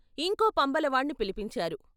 ఇంకో పంబలవాణ్ణి పిలిపించారు.